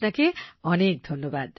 আপনাকে অনেক ধন্যবাদ